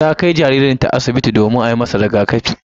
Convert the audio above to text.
Ta kai jaririnta asibiti domin a yi masa rigakafi.